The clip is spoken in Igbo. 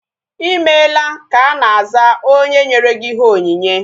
Ịmela ka ana aza onye nyere ihe onyinye